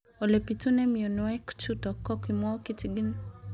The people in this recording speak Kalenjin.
Ole pitune mionwek chutok ko kimwau kitig'�n